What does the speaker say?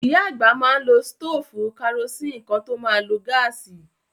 Ìyá àgbà má n lo stófù karosín kán tó ma lo gáàsì.